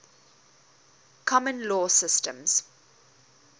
common law systems